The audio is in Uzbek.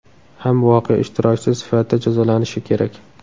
ham voqea ishtirokchisi sifatida jazolanishi kerak.